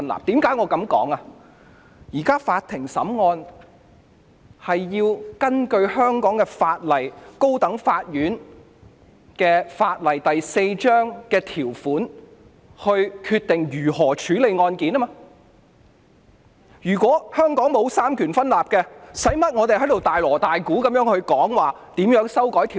現時法庭審案須根據香港法例第4章《高等法院條例》的條文決定如何處理案件，如果香港沒有三權分立，用不着我們在這裏大鑼大鼓地討論如何修改條例。